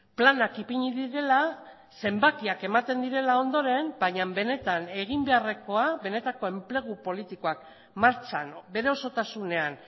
planak ipini direla zenbakiak ematen direla ondoren baina benetan egin beharrekoa benetako enplegu politikoak martxan bere osotasunean